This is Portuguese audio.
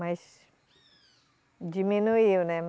Mas diminuiu, né?